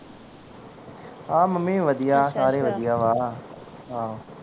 ਹਾਂ ਮੰਮੀ ਵੀ ਵਧੀਆ ਆ ਸਾਰੇ ਵਧੀਆ ਵਾ ਹਾਂ ਹਾਂ।